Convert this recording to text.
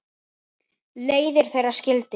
Leiðir þeirra skildi.